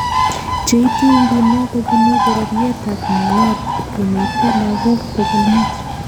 Cheitu inguno kobunu bororiet ab Nuer komite lagook pogolmut